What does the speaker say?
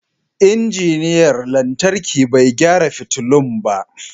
Injiniyan lantarki bai gyara fitulun ba.